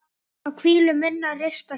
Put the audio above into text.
á hvílu minnar rista fjöl